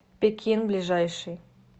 пекин ближайший